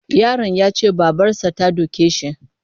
Yaron ya ce babarsa ta doke shi.